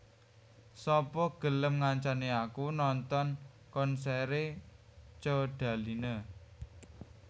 Sapa gelem ngancani aku nonton konsere Codaline?